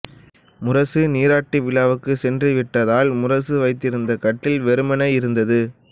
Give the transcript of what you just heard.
முரசு நீராட்டு விழாவுக்குச் சென்றுவிட்டதால் முரசு வைத்திருந்த கட்டில் வெறுமனே இருந்தது